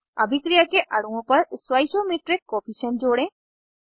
अभिक्रिया के अणुओं पर स्टॉइचोमीट्रिक कोअफिशन्ट जोड़ें